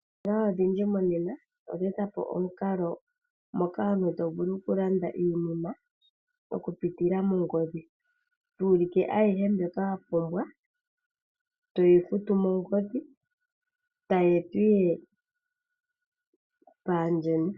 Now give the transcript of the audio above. Oositola odhindji monena odha e ta po omukalo moka omuntu to vulu oku landa iinima oku pitila mongodhi. To ulike ayihe mbyoka wa pumbwa, to yi futu mongodhi ta yi etwa ihe paayeni.